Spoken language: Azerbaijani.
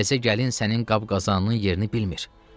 Təzə gəlin sənin qab-qazanının yerini bilmir.